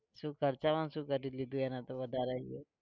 શું ખર્ચામાં શું કરી લીધું એને તો વધારે આવ્યો?